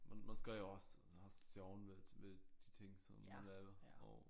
Man skal jo også have sjoven ved ved de ting som man laver og